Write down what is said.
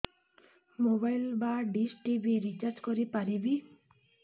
mobile ବା dish TV recharge କରି ପାରିବି